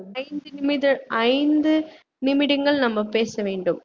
ஐந்து நிமிடம் ஐந்து நிமிடங்கள் நம்ம பேச வேண்டும்